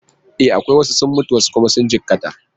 E, akwai. Wasu sun mutu wasu kuma sun jikkata.